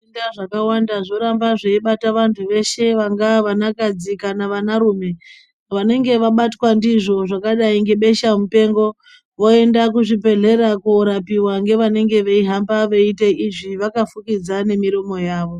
Zvitenda zvakawanda zvoramba zveibata veshe vangava vanakadzi kana vanarume. Vanenge vabatwa ndizvo zvakadai ngebeshamupengo ,voenda kuzvibhedhlera koorapiwa ngevanenge veihamba veiite izvi vakafukidza nemiromo yavo.